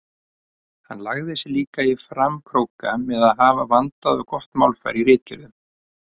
Hann lagði sig líka í framkróka með að hafa vandað og gott málfar í ritgerðunum.